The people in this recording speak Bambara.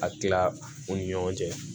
A kila u ni ɲɔgɔn cɛ